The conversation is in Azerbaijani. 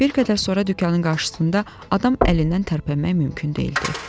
Bir qədər sonra dükanın qarşısında adam əlindən tərpənmək mümkün deyildi.